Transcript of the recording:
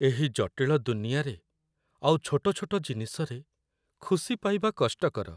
ଏହି ଜଟିଳ ଦୁନିଆରେ ଆଉ ଛୋଟ ଛୋଟ ଜିନିଷରେ ଖୁସି ପାଇବା କଷ୍ଟକର।